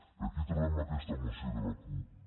i aquí trobem aquesta moció de la cup